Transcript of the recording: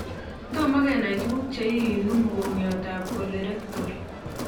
Tomoo kenai tuguuk che inuu mogongiot ab colorectal